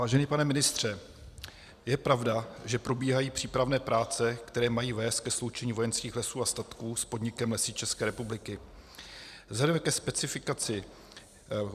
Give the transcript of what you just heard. Vážený pane ministře, je pravda, že probíhají přípravné práce, které mají vést ke sloučení Vojenských lesů a statků s podnikem Lesy České republiky?